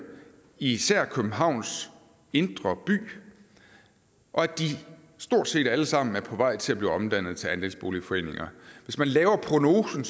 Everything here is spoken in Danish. især i københavns indre by og at de stort set alle sammen er på vej til at blive omdannet til andelsboligforeninger hvis man laver prognosen